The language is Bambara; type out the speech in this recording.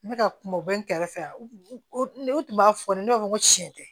N bɛ ka kuma o bɛ n kɛrɛfɛ u tun b'a fɔ de ne b'a fɔ ko tiɲɛ tɛ